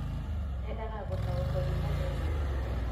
Endaga gũtaũkwo ni mathĩna mao